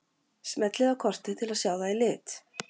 Smellið á kortið til að sjá það í lit.